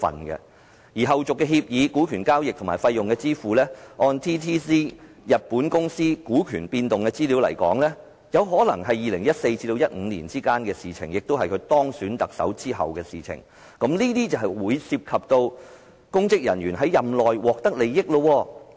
至於後續協議、股權交易和費用支付，按日本公司 DTZ 股權變動資料來看，有可能是2014年至2015年之間發生的事，即在他當選特首後發生的事，這便涉及公職人員在任內獲得利益。